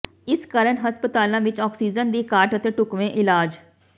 ਇਸ ਕਾਰਨ ਹਸਪਤਾਲਾਂ ਵਿੱਚ ਆਕਸੀਜਨ ਦੀ ਘਾਟ ਅਤੇ ਢੁੱਕਵੇਂ ਇਲਾਜ